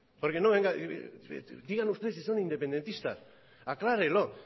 porque no venga digan ustedes si son independentistas aclárelo